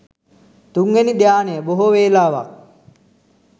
තුන්වෙනි ධ්‍යානය බොහෝ වෙලාවක්